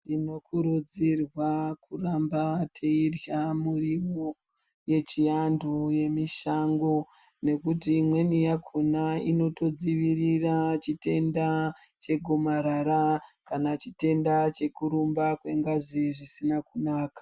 Tinokurudzirwa kuramba teirya muriwo yechiantu yemishango nekuti imweni yakona inotodzivirira chitenda chegomarara nechitenda chekurumba kwengazi zvisina kunaka.